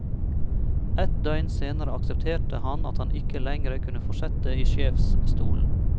Ett døgn senere aksepterte han at han ikke lengre kunne fortsette i sjefsstolen.